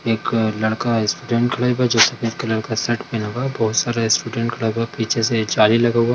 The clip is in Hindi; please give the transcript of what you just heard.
एक लड़का स्टूडेंट कल्ब है जो सफ़ेद कलर का शर्ट पहना हुआ है बहुत सारे स्टूडेंट क्लब हेय पीछे से जाली लगा हुआ --